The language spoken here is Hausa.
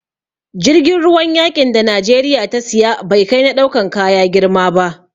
Jirgin ruwan yaƙin da Najeriya ta siya, bai kai na ɗaukan kaya girma ba.